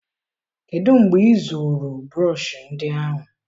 kedụ mgbe ịzụrụ brọsh ndị ahụ?